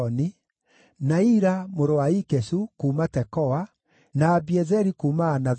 na Ira mũrũ wa Ikeshu kuuma Tekoa, na Abiezeri kuuma Anathothu,